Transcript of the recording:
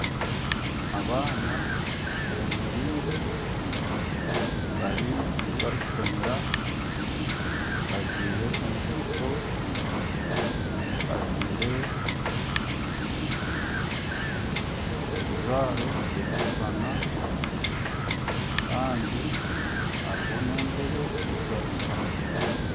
Abaana bemereire bari eyi barikushomera bajwaire enkaito nana ebijwaro ebirikushushana kandi hariho n'entebe ezi barikushutamaho